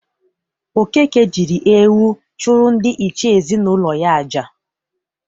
Okeke jịrị ewu chụrụ ndị iche ezinaụlọ ya aja.